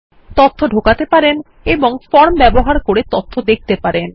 তথ্য ঢোকানো এবং ফর্ম ব্যবহার করে তথ্য দেখতে পারেন